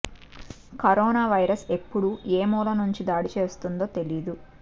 corona virus ఎప్పుడు ఏ మూల నుంచి దాడి చేస్తుందో తెలియదు